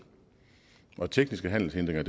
og tekniske handelshindringer